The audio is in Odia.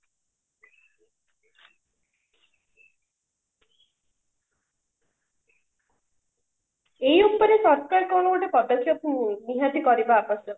ଏଇ ଉପରେ ସରକାର କଣ ଗୋଟେ ପଦକ୍ଷେପ ନିହାତି କରିବା ଆବଶ୍ୟକ